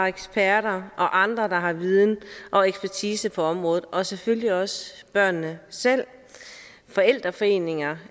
eksperter og andre der har viden og ekspertise på området og selvfølgelig også børnene selv forældreforeninger